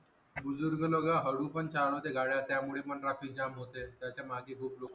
बुजुर्ग लोक हळू पण चालवते गाड्या त्यामुळे पण traffic jam होते त्याच्या मागे खूप लोक राहते.